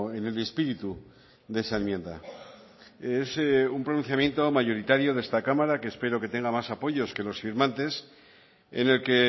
en el espíritu de esa enmienda es un pronunciamiento mayoritario de esta cámara que espero que tenga más apoyos que los firmantes en el que